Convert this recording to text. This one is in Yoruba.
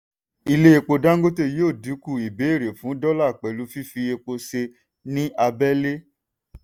ilé epo dangote yóò dínkù ìbéèrè fún dọ́là pẹ̀lú fífi epo ṣe ní abẹ́lé.